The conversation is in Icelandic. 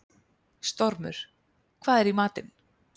Stormur, hvað er í matinn?